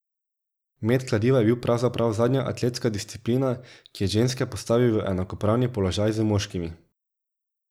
Met kladiva je bil pravzaprav zadnja atletska disciplina, ki je ženske postavil v enakopravni položaj z moškimi.